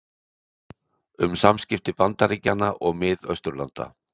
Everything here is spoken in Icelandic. Um samskipti Bandaríkjanna og Mið-Austurlanda